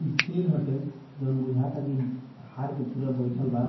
ई शेर हटे जौन बुझाता की हार के पूरा बइठल बा।